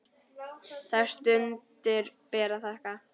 Þær stundir ber að þakka.